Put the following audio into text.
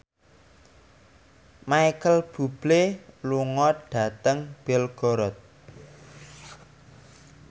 Micheal Bubble lunga dhateng Belgorod